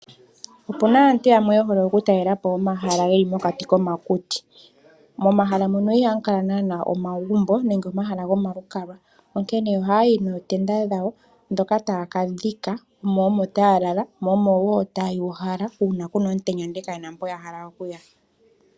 Opu na aantu yamwe ye hole okutalela po omahala ge li mokati komakuti. Momahala mono ihamu kala naana omagumbo nenge omahala gomalukalwa, onkene ohaayi nootenda dhawo ndhoka taya ka dhika mo omo taya lala, mo omo wo taya uhala uuna ku na omutenya ndele kaye na mpoka ya hala okuya.